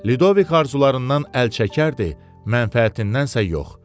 Ludovik arzularından əl çəkərdi, mənfəətindən isə yox.